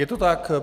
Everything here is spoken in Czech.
Je to tak.